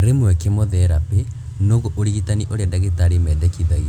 Rĩmwe kemotherapĩ noguo ũrigitani ũrĩa ndagĩtarĩ mendekithagia